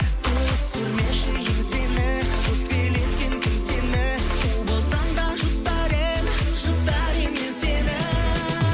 түсірмеші еңсені өкпелеткен кім сені у болсаң да жұтар едім жұтар едім мен сені